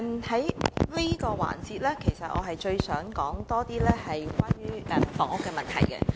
主席，在這個環節，其實我想多些談及房屋問題。